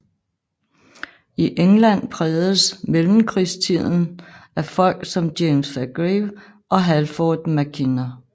I England prægedes mellemkrigstiden af folk som James Fairgrieve og Halford Mackinder